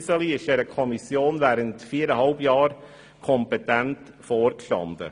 Iseli ist der Kommission während viereinhalb Jahren kompetent vorgestanden.